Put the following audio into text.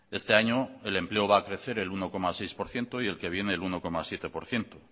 este año el empleo va a crecer el uno coma seis por ciento y el que viene el uno coma siete por ciento